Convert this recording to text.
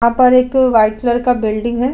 यहां पर एक व्हाइट कलर का बिल्डिंग है।